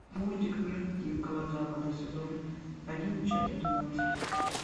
мультик мир дикого запада сезон один часть двенадцать